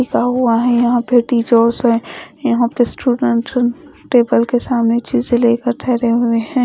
लिखा हुआ है यहां पे टीचर्स है यहां पे स्टूडेंट टेबल के सामने चीजें लेकर ठहरे हुए हैं।